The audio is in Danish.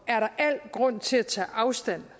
er der al grund til at tage afstand